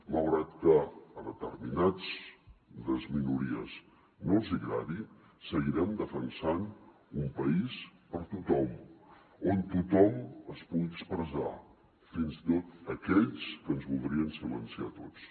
malgrat que a determinades minories no els hi agradi seguirem defensant un país per a tothom on tothom es pugui expressar fins i tot aquells que ens voldrien silenciar a tots